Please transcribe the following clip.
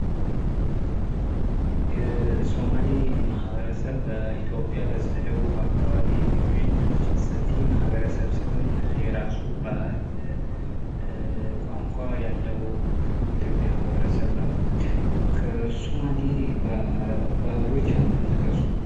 የሶማሌ ማህበረሰብ በኢትዮጵያ በስተደቡብ አካባቢ የሚገኝ ሰፊ ማህበረሰብ ሲሆን የራሱ ባህል ቋንቋ ያለው የኢትዮጵያ ማህበረሰብ ነው። ከሱማሌ ባህሎች አንዱን ጥቀሱ።